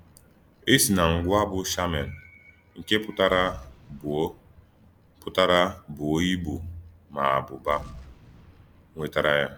È sì nà ngwáà bụ́ shà·mèn’, nke pụtara “bùò pụtara “bùò ìbú, màá àbúbà” nwètàrà yá.